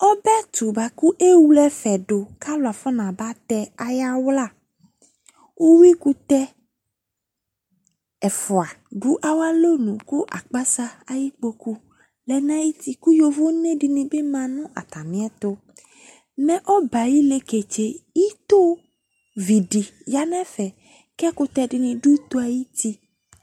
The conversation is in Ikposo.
Ɔbɛ ɛtʋ boa kʋ ewle ɛfɛ dʋ kʋ alʋ afɔnabatɛ ayawla Uwui kʋtɛ ɛfua dʋ awʋ alɔnʋ kʋ akpasa ayikpokʋ lɛ nʋ ayuti kʋ yovo nɛ di ni bi ma nʋ atami ɛtʋ Mɛ ɔbɛ yɛ ayi leketse, ito vi di ya nʋ ɛfɛ kʋ ɛkʋtɛ di ni dʋ ito yɛ ayuti